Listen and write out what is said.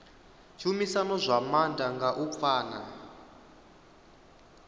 tshumisano zwa maanḓa nga u pfana